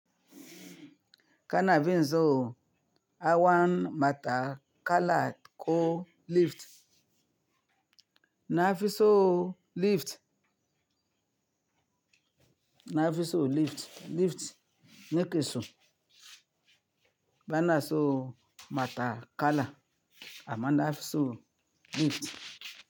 Kana fin so hawan matakala ko lift. Nafiso lift. Nafiso lift, lift ne kiso bana so matakala, ama nafiso lift.